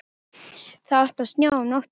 Það átti að snjóa um nóttina.